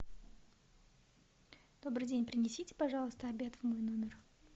добрый день принесите пожалуйста обед в мой номер